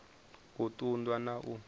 u ṱun ḓwa na u